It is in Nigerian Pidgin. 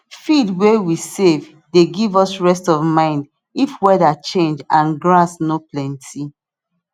feed way we save dey give us rest of mind if weather change and grass no plenty